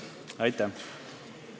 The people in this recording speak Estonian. Aitäh!